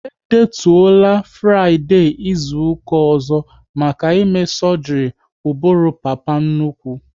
E detuola Fraịdee izuka ọzọ maka ime sọgri ụbụrụ papa nnukwu